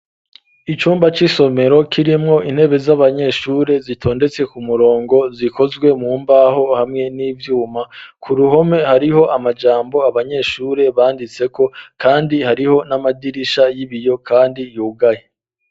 Icumba c'isomero, kirimwo intebe z'abanyeshure zitondetse ku murongo, zikozwe mu mbaho hamwe n'ivyuma; ku ruhome hariho amajambo, abanyeshure banditseko, kandi hariho n'amadirisha y'ibiyo kandi yugaye.